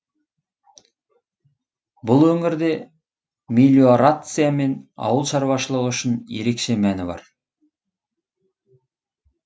бұл өңірде мелиорация мен ауыл шаруашылығы үшін ерекше мәні бар